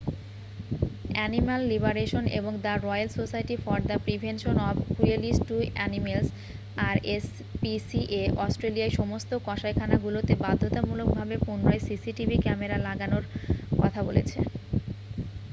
Animal liberation এবং the royal society for the prevention of cruelty to animals rspca অস্ট্রেলিয়ার সমস্ত কসাইখানাগুলোতে বাধ্যতামূলক ভাবে পুনরায় cctv ক্যামেরা লাগানোর কথা বলেছে।